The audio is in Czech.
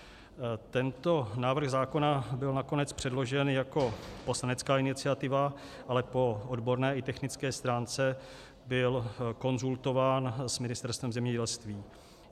Tento návrh zákona byl nakonec předložen jako poslanecká iniciativa, ale po odborné i technické stránce byl konzultován s Ministerstvem zemědělství.